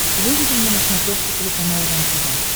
выведи мне на смотрешке телеканал рентв